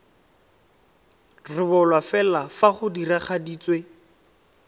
rebolwa fela fa go diragaditswe